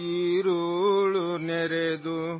دن چلا گیا ہے اور اندھیرا ہے،